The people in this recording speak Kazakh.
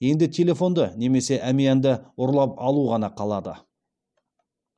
енді телефонды немесе әмиянды ұрлап алу ғана қалады